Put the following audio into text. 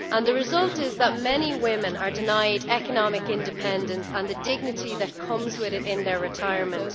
The result is that many women are denied economic independence, and the dignity that comes with it, in their retirement.